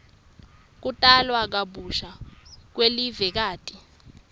kutalwa kabusha kwelivekati